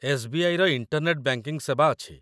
ଏସ୍.ବି.ଆଇ.ର internet banking ସେବା ଅଛି।